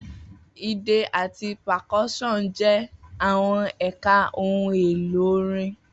Idẹ ati percussion jẹ awọn ẹka ohun elo orin.